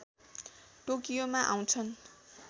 टोकियोमा आउँछन्